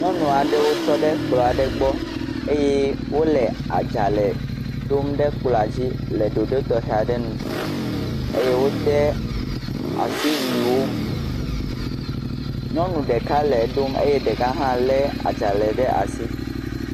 Yɔnu aɖewo tɔ ɖe kplɔ aɖe gbɔ eye wo le adzale ɖom ɖe kplɔ adzi le ɖoɖoɖ tɔxe aɖe nu eye wode asiwuiwo. Nyɔnu ɖeka le ɖom eye ɖeka hã le adzale ɖe asi.